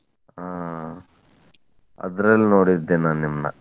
ಅಹ್ ಅದ್ರಲ್ಲಿ ನೋಡಿದ್ದೆ ನಾ ನಿಮ್ನಾ.